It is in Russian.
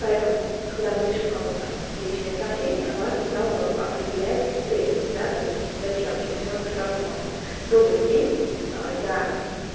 поэтому когда мы пишем кому-то в личные сообщения важно сразу определять цель да то есть зачем чтобы человек сразу понял добрый день я